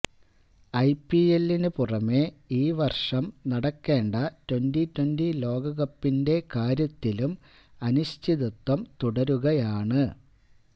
ഐപിഎല്ലിനു പുറമേ ഈ വർഷം നടക്കേണ്ട ട്വന്റി ട്വന്റി ലോകകപ്പിന്റെ കാര്യത്തിലും അനിശ്ചിതത്വം തുടരുകയാണ്